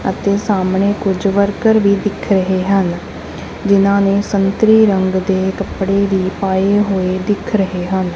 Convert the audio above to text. ਅਤੇ ਸਾਹਮਣੇ ਕੁਝ ਵਰਕਰ ਵੀ ਦਿਖ ਰਹੇ ਹਨ ਜਿਨਾਂ ਨੇ ਸੰਤਰੀ ਰੰਗ ਦੇ ਕੱਪੜੇ ਦੀ ਪਾਏ ਹੋਏ ਦਿਖ ਰਹੇ ਹਨ।